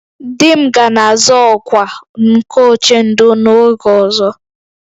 "Di m ga na-azọ ọkwa nke "Ochendo" n'oge ọzọ "